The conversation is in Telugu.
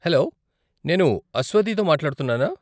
హలో, నేను అస్వతితో మాట్లాడుతున్నానా?